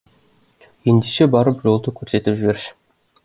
ендеше барып жолды көрсетіп жіберші